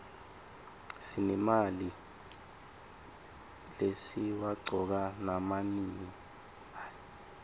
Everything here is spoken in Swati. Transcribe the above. sinemalimi lesiwaqcoka nama nini